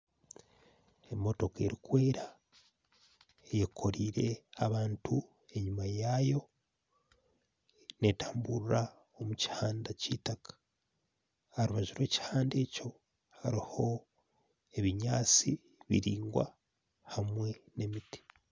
Emootoka erikwera eyekoreire abantu enyuma yaayo neetambura omu muhanda kitaka aha rubaju rw'ekihanda ekyo hariho ebinyatsi biraingwa hamwe n'emiti